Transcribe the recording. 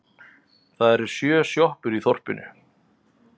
Það eru sjö sjoppur í þorpinu!